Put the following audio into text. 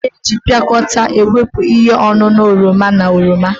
Ada na-eji piakota wepụ ihe ọṅụṅụ oroma na oroma.